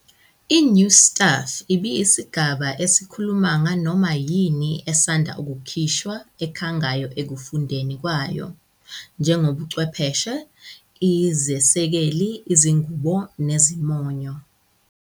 INew Stuff ibiyisigaba esikhuluma nganoma yini esanda kukhishwa ekhangayo ekufundeni kwayo, njengobuchwepheshe, izesekeli, izingubo, nezimonyo.